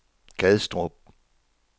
Gadstrup